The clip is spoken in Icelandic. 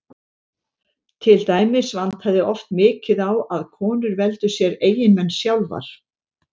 til dæmis vantaði oft mikið á að konur veldu sér eiginmenn sjálfar